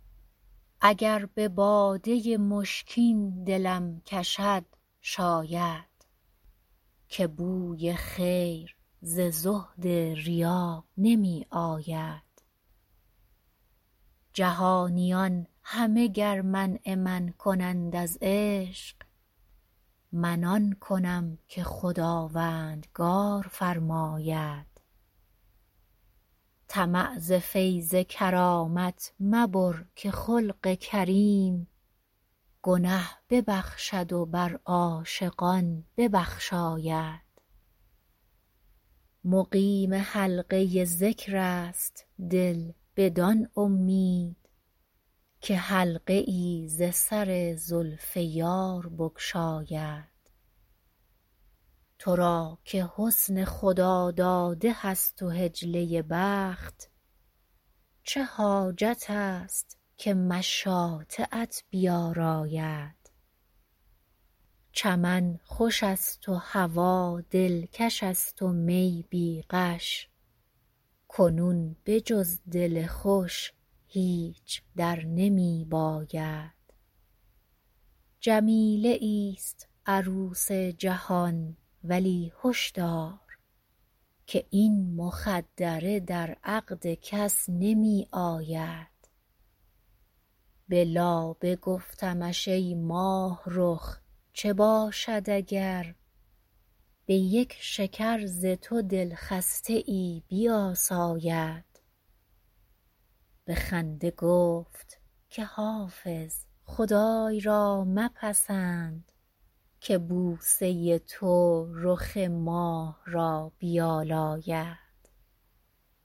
اگر به باده مشکین دلم کشد شاید که بوی خیر ز زهد ریا نمی آید جهانیان همه گر منع من کنند از عشق من آن کنم که خداوندگار فرماید طمع ز فیض کرامت مبر که خلق کریم گنه ببخشد و بر عاشقان ببخشاید مقیم حلقه ذکر است دل بدان امید که حلقه ای ز سر زلف یار بگشاید تو را که حسن خداداده هست و حجله بخت چه حاجت است که مشاطه ات بیاراید چمن خوش است و هوا دلکش است و می بی غش کنون به جز دل خوش هیچ در نمی باید جمیله ایست عروس جهان ولی هش دار که این مخدره در عقد کس نمی آید به لابه گفتمش ای ماهرخ چه باشد اگر به یک شکر ز تو دلخسته ای بیاساید به خنده گفت که حافظ خدای را مپسند که بوسه تو رخ ماه را بیالاید